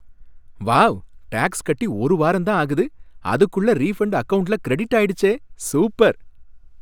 Wow! Tax கட்டி ஒரு வாரம் தான் ஆகுது! அதுக்குள்ள ரீஃபண்ட் அக்கவுண்ட்ல கிரெடிட் ஆயிடுச்சே! சூப்பர்